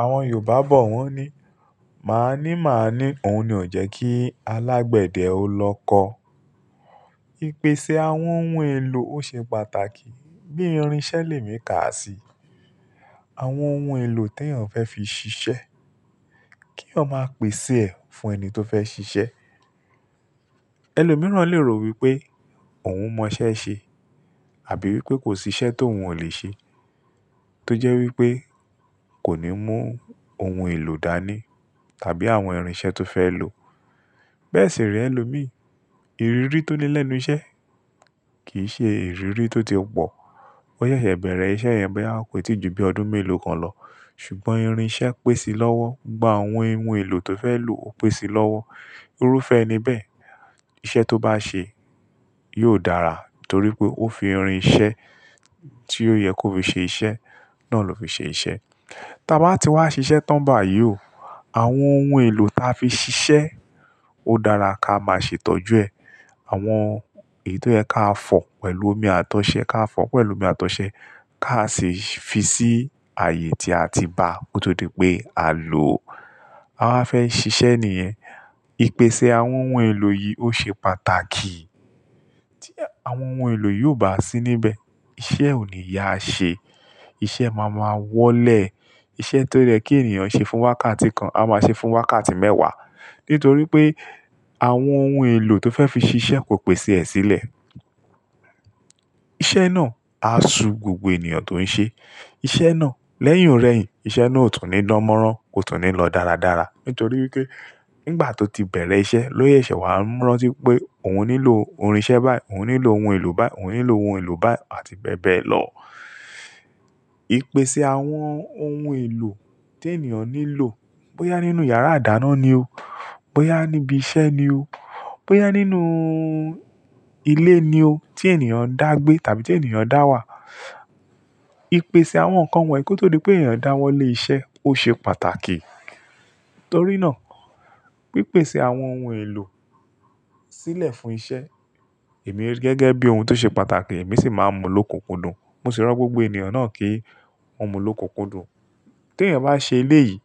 Àwọn Yorùbá bọ̀ wọ́n ní, "Maa ní, maa ní, òun ni ò jẹ́ kí alágbẹ̀dẹ ó lọ kọ." Ìpèsè àwọn ohun èlò ó ṣe pàtàkì. Bí irinṣẹ́ le mì ká sí, àwọn ohun èlò tí èèyàn fẹ́ fi ṣiṣẹ́, kí eyan máa pèsè ẹ̀ fún ẹni tó fẹ́ ṣiṣẹ́. Ẹlòmíràn lè ro wípé òun mọ iṣẹ́ ṣe àbí wípé kò sí iṣẹ́ tó òun ò lè ṣe tó jẹ́ wípé kò ní mú ohun èlò dání tàbí àwọn irinṣẹ́ tó fẹ́ lò. Bẹ́ẹ̀ sì re ẹlòmíì. Ìrírí tó ní lẹ́nu iṣẹ́ kì í ṣe ìrírí tó ti pọ̀. Wọ́n ṣẹ̀ṣẹ̀ bẹ̀rẹ̀ iṣẹ́ yẹn bẹ́ẹ̀ wọ́n kò tíì ju bí ọdún mélòó kan lọ. Ṣùgbọ́n irinṣẹ́ pèsè lọ́wọ́, gba àwọn ohun èlò tó fẹ́ lò ó pèsè lọ́wọ́. Irúfẹ́ ni bẹ́ẹ̀. Iṣẹ́ tó bá ṣe yóò dára nítorí pé ó fi irinṣẹ́ tí ó yẹ kó fi ṣe iṣẹ́ náà ló fi ṣe iṣẹ́. Tí a bá ti wá ṣiṣẹ́ tán bá yíò, àwọn ohun èlò tí a fi ṣiṣẹ́ ó dára ká máa ṣe tọ́jú ẹ. Àwọn èyí tó yẹ ká fọ̀ pẹ̀lú omi àtọ̀sẹ, ká fọ̀ pẹ̀lú omi àtọ̀sẹ́ ká sì fi sí ààyè tí a ti bá kó tó di pé à ló, a wáa fẹ́ ṣiṣẹ́ ní yen. Ìpèsè àwọn ohun èlò yìí ó ṣe pàtàkì tí àwọn ohun èlò yóò bá sí níbẹ̀. Iṣẹ́ ò ní yá a ṣe, iṣẹ́ má máa wọ́lẹ̀. Iṣẹ́ tó yẹ kí ènìyàn ṣe fún wákàtí kan, a máa ṣe fún wákàtí mẹ́wàá. Nítorí pé àwọn ohun èlò tó fẹ́ fi ṣe iṣẹ́ kò pèsè ẹ̀ sílẹ̀. Iṣẹ́ náà á su gbogbo ènìyàn tó ń ṣe. Iṣẹ́ náà lẹ́yìn ọ̀rẹ́ yìn, iṣẹ́ náà ó tún ní dánmọ́rán, kó tún ní lọ dáradára. Nítorí wípé nígbà tó ti bẹ̀rẹ̀ iṣẹ́ ló sèṣẹ́ wàá mọ̀ rántí pé òun nílò irinṣẹ́ báyìí, òun nílò ohun èlò báyìí, òun nílò ohun èlò báyìí àti bẹ́ẹ̀ bẹ́ẹ̀ lọ. Ìpèsè àwọn ohun èlò tí ènìyàn nílò bóyá nínú yàrá ìdáná ni o, bóyá níbi iṣẹ́ ni o, bóyá nínú ilé ni o tí ènìyàn ń dàgbé tàbí tí ènìyàn ń dá wà. Ìpèsè àwọn nǹkan wọ̀nyí kó tó di pé ènìyàn dá wọlé iṣẹ́ ó ṣe pàtàkì. Torí náà, pípèsè àwọn ohun èlò sílẹ̀ fún iṣẹ́, èmi gẹ́gẹ́ bí ohun tó ṣe pàtàkì, èmi sì máa mú ló kùnkùndùn. Mo sì rò gbogbo ènìyàn náà kí wọ́n mú ló kùkùndùn. Tí èèyàn bá ṣe elé yìí,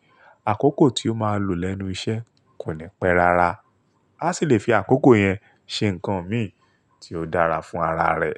àkókò tí ó máa lò lẹ́nu iṣẹ́ kò ni pẹ́ rara. A sì le fi àkókò yẹn ṣe nǹkan mí ì tí ó dára fún ara rẹ̀.